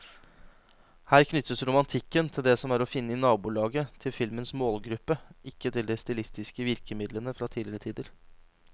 Her knyttes romantikken til det som er å finne i nabolaget til filmens målgruppe, ikke til de stilistiske virkemidlene fra tidligere tider.